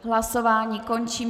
Hlasování končím.